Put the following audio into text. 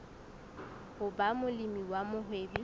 ho ba molemi wa mohwebi